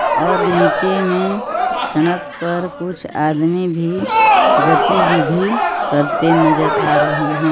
और नीचे मे सड़क पर कुछ आदमी भी गतिविधि करते नजर आ रहे है.